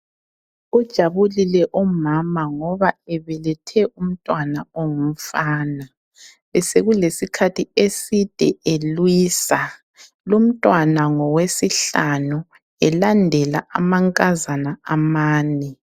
Ujabulile umama ngoba ebelethe umntwana ongumfana. Besekulesikhathi eside elwisa. Lumntwana ngowesihlanu, elandela amankazana amane.